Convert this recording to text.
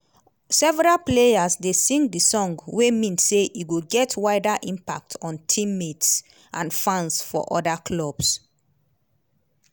several players dey sing di song wey mean say e go get wider impact on team-mates and fans for oda clubs.